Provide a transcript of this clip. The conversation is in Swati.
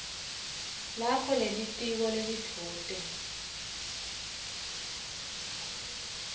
lakho lelitiko lelidvute